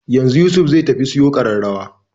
Yanzu Yusuf zai tafi siyo ƙararrawar